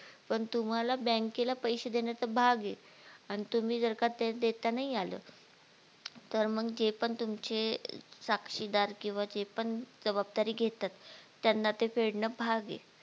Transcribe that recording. पण तुम्हाला बँकेला पैसे देणं भाग ये आणि तुम्ही जर का ते देता नाही आलं तर मग जे पण तुमचे साक्षीदार किंवा जे पण जबाबदारी घेतात त्यांना ते फेडण भाग ये